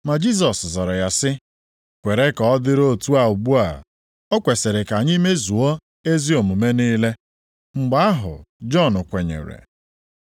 Ma Jisọs zara ya sị, “Kwere ka ọ dịrị otu a ugbu a, o kwesiri ka anyị mezuo ezi omume niile.” Mgbe ahụ Jọn kwenyere.